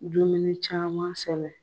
Dumuni caman sɛnɛ